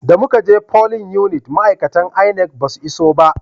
Da muka je folin unit ma'aikatan INEC ba su iso ba